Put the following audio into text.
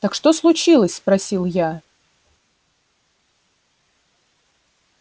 так что случилось спросил я